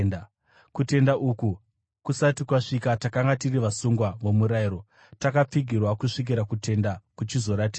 Kutenda uku kusati kwasvika, takanga tiri vasungwa vomurayiro, takapfigirwa kusvikira kutenda kuchizoratidzwa.